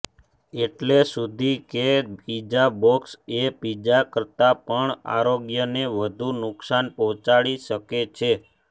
એટલે સુધી કે પિઝા બોક્સ એ પિઝા કરતા પણ આરોગ્યને વધુ નુક્સાન પહોંચાડી શકે છે